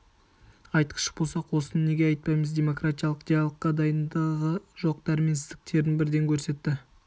айтқыш болсақ осыны неге айтпаймыз демократиялық диалогқа дайындығы жоқ дәрменсіздіктерін бірден көрсетті